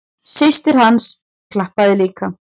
Systir hans klappaði líka.